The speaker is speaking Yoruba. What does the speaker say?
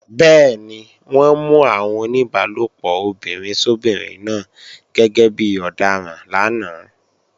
Bẹ́ẹ̀ni, wọ́n mú àwọn oníbálòpọ̀ obìnrin sóbinrin náà gẹ́gẹ́ bí ọ̀daràn lánàá